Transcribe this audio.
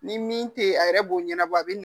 Ni min te yen a yɛrɛ b'o ɲɛnabɔ a be na